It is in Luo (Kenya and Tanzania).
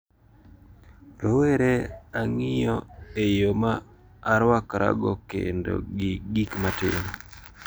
Rowere 'Ang`iyo e yo ma arwakra go kendo gi gik matimo.